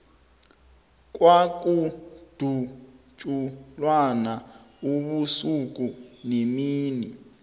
kwakudutjulwana ubusuku nemini